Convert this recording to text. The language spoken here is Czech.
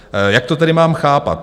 Jak to tedy mám chápat?